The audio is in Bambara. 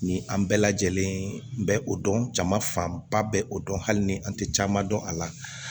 Ni an bɛɛ lajɛlen bɛ o dɔn jama fanba bɛ o dɔn hali ni an tɛ caman dɔn a la